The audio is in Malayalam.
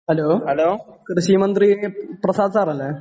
ഹെല്ലോ കൃഷിമന്ത്രി പ്രസാദ് സർ അല്ലെ